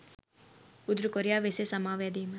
උතුරු කොරියාව එසේ සමාව යැදීම